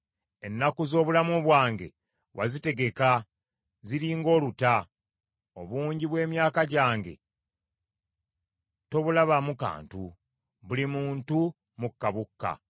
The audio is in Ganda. Ennaku z’obulamu bwange wazitegeka ziri ng’oluta. Obungi bw’emyaka gyange tobulabamu kantu. Buli muntu, mukka bukka.